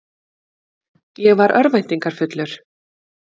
Ég var örvæntingarfullur.